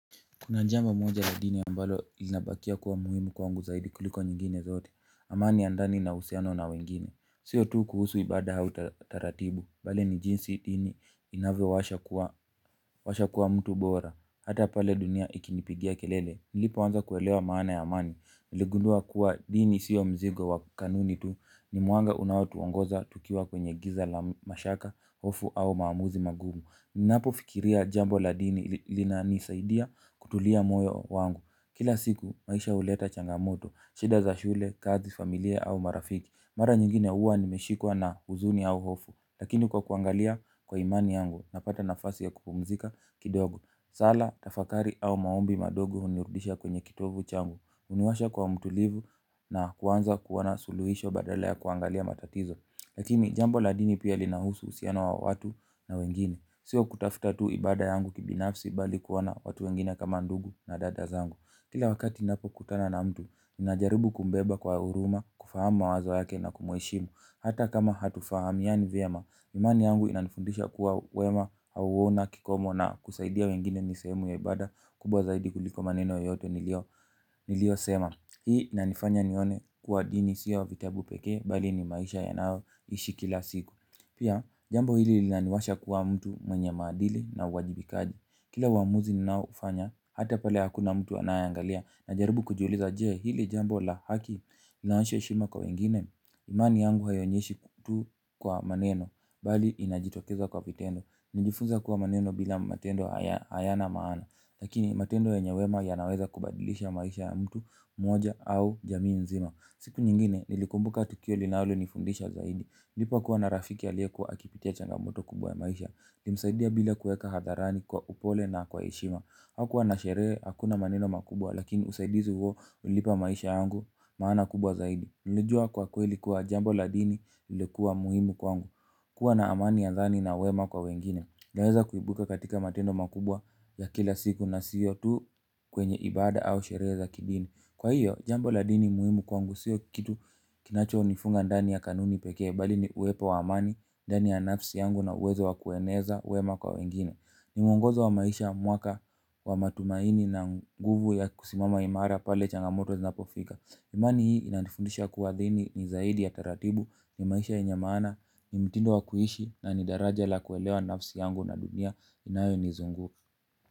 Kuna jambo moja la dini ambalo ilinabakia kuwa muhimu kwangu zaidi kuliko nyingine zote. Amani ya ndani na uhusiano na wengine. Sio tu kuhusu ibada au taratibu. Bali ni jinsi dini inavyowasha kuwa mtu bora. Hata pale dunia ikinipigia kelele. Nilipoanza kuelewa maana ya amani. Niligundua kuwa dini sio mzigo wa kanuni tu. Ni mwanga unaotuongoza tukiwa kwenye giza la mashaka, hofu au maamuzi magumu. Ninapo fikiria jambo la dini linanisaidia kutulia moyo wangu. Kila siku maisha huleta changamoto, shida za shule, kazi, familia au marafiki. Mara nyingine huwa nimeshikwa na huzuni au hofu. Lakini kwa kuangalia kwa imani yangu napata nafasi ya kupumzika kidogo. Sala, tafakari au maombi madogo hunirudisha kwenye kitovu changu. Uniwasha kwa mtulivu na kuanza kuona suluhisho badala ya kuangalia matatizo. Lakini jambo la dini pia linahusu uhusiano wa watu na wengine. Sio kutafuta tu ibada yangu kibinafsi bali kuona watu wengine kama ndugu na dada zangu. Kila wakati ninapo kutana na mtu, ninajaribu kumbeba kwa huruma, kufahamu mawazo yake na kumheshimu. Hata kama hatufahamiani vyema, imani yangu inanifundisha kuwa wema hauna kikomo na kusaidia wengine ni sehemu ya ibada kubwa zaidi kuliko maneno yote nilio sema. Hii inanifanya nione kuwa dini sio vitabu peke bali ni maisha yanao ishi kila siku. Pia, jambo hili lilaniwasha kuwa mtu mwenye madili na uwajibikaji. Kila uamuzi ninaoufanya, hata pale hakuna mtu anayeangalia na jaribu kujuliza je hili jambo la haki linaonyesha heshima kwa wengine. Imani yangu haionyeshi tu kwa maneno, bali inajitokeza kwa vitendo. Nijifunza kuwa maneno bila matendo hayana maana. Lakini matendo yenye wema yanaweza kubadilisha maisha ya mtu mmoja au jamii nzima. Siku nyingine nilikumbuka tukio linalonifundisha zaidi nilipo kuwa na rafiki aliye kuwa akipitia changamoto kubwa ya maisha nilimsaidia bila kueka hadharani kwa upole na kwa heshima. Hakuwa na sherehe hakuna maneno makubwa. Lakini usaidizi huo ulilipa maisha yangu maana kubwa zaidi. Nilijua kwa kweli kuwa jambo la dini ilikuwa muhimu kwangu. Kuwa na amani ya thani na wema kwa wengine naeza kuibuka katika matendo makubwa ya kila siku na sio tu kwenye ibada au sherehe za kidini. Kwa hiyo, jambo la dini muhimu kwangu sio kitu kinacho nifunga ndani ya kanuni pekee, bali ni uwepo wa amani, ndani ya nafsi yangu na uwezo wa kueneza, wema kwa wengine. Ni mungozo wa maisha, mwaka, wa matumaini na nguvu ya kusimama imara pale changamoto zinapofika. Imani hii inanifundisha kuwa dini ni zaidi ya taratibu, ni maisha yenye maana, ni mtindo wa kuishi na ni daraja la kuelewa nafsi yangu na dunia inayonizunguka.